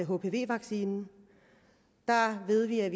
hpv vaccinen der ved vi at